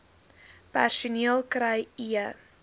personeel kry e